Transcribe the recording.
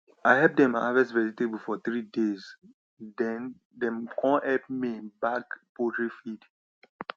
i help dem harvest vegetable for three days then dem com help me bag poultry feed